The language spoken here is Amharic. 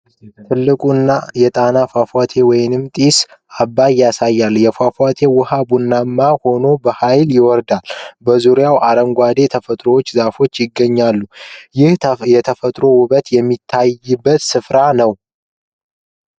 ትልቁን የጣና ፏፏቴ ወይም ጢስ እሳት ያሳያል። የፏፏቴው ውሃ ቡናማ ሆኖ በኃይል ይወርዳል። በዙሪያው አረንጓዴ ተፈጥሮና ዛፎች ይገኛሉ፤ ይህ የተፈጥሮ ውበት የሚታይበት ስፍራ ነው።